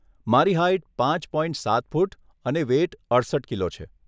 મારી હાઇટ પાંચ પોઇન્ટ સાત ફૂટ અને વેઇટ અડસઠ કિલો છે.